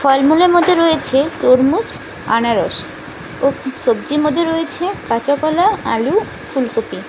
ফলমূলের মধ্যে রয়েছে তরমুজ আনারস ও সবজির মধ্যে রয়েছে কাঁচা কলা আলু ফুলকপি।